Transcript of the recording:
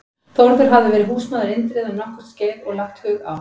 Þórður hafði verið húsmaður Indriða um nokkurt skeið og lagt hug á